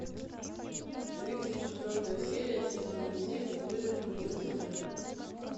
тридцать четвертая серия сезона семь выжить любой ценой